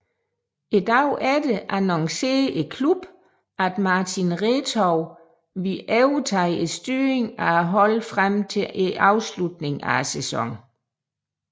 Dagen efter annoncerede klubben at Martin Retov ville overtage styringen af holdet frem til afslutningen af sæsonen